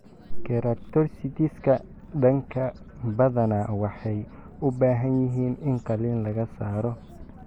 Keratocysts-ka daanka badanaa waxay u baahan yihiin in qalliin laga saaro.